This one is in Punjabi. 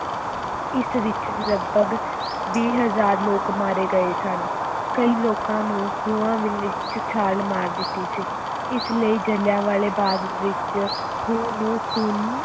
ਇਸ ਵਿਚ ਲਗਪਗ ਵੀਹ ਹਜ਼ਾਰ ਲੋਕ ਮਾਰੇ ਗਏ ਸਨ, ਕਈ ਲੋਕਾਂ ਨੂੰ ਖੂਹਾਂ ਦੇ ਵਿੱਚ ਛਾਲ ਮਾਰ ਦਿੱਤੀ ਸੀ, ਇਸ ਲਈ ਜਿਲ੍ਹਿਆਂਵਾਲੇ ਬਾਗ ਵਿੱਚ ਖੂਹ ਨੂੰ ਖੂਨ